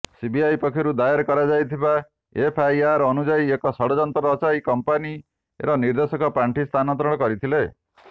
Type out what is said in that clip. CBI ପକ୍ଷରୁ ଦାଏ କରାଯାଇଥିବା ଏଫ୍ଆଇଆର୍ ଅନୁଯାୟୀ ଏକ ଷଡଯନ୍ତ୍ର ରଚାଇ କମ୍ପାନୀର ନିର୍ଦେଶକ ପାଣ୍ଠି ସ୍ତାନାନ୍ତରଣ କରିଥିଲେ